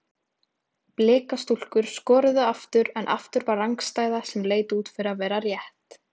Blika stúlkur skoruðu aftur en aftur var rangstæða sem leit út fyrir að vera rétt.